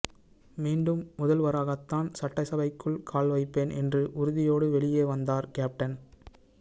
மீண்டும் முதல்வராகத்தான் சட்டசபைக்குள் கால் வைப்பேன் என்ற உறுதியோடு வெளியே வந்தார் கேப்டன்